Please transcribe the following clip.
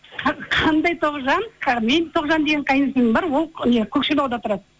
қандай тоғжан менің тоғжан деген қайынсіңлілім бар ол не көкшетауда тұрады